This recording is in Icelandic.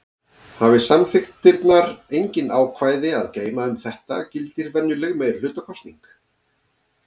Hafi samþykktirnar engin ákvæði að geyma um þetta gildir venjuleg meirihlutakosning.